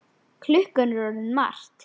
Klukkan er orðin margt.